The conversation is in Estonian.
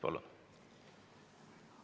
Palun!